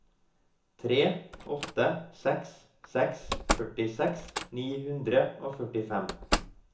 tre åtte seks seks førtiseks ni hundre og førtifem